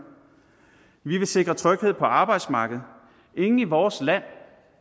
vi vil sikre tryghed på arbejdsmarkedet ingen i vores land